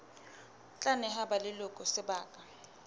tla neha ba leloko sebaka